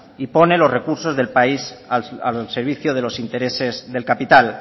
y pone los recursos del país al servicio de los intereses del capital